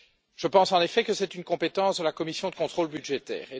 Je pense, en effet, que c'est une compétence de la commission du contrôle budgétaire.